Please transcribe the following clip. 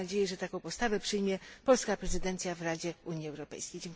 Mam nadzieję, że taką postawę przyjmie polska prezydencja w Radzie Unii Europejskiej.